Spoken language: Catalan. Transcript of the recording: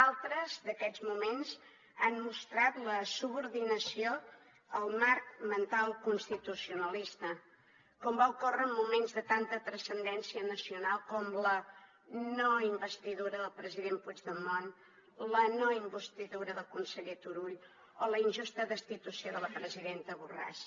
altres d’aquests moments han mostrat la subordinació al marc mental constitucionalista com va ocórrer en moments de tanta transcendència nacional com la no investidura del president puigdemont la no investidura del conseller turull o la injusta destitució de la presidenta borràs